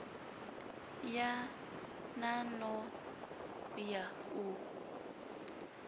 ya nan o ya u